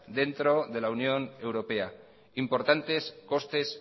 dentro de la unión europea importantes costes